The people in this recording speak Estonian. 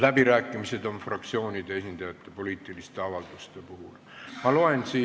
Läbirääkimistel osalevad poliitiliste avalduste puhul fraktsioonide esindajad.